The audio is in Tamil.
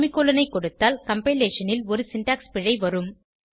செமிகோலன் ஐ கொடுத்தால் கம்பைலேஷன் ல் ஒரு சின்டாக்ஸ் பிழை வரும்